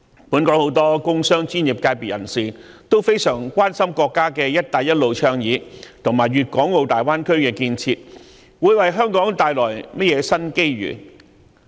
本港很多工商專業界別人士均非常關心國家的"一帶一路"倡議，以及粵港澳大灣區的建設會為香港帶來甚麼新機遇。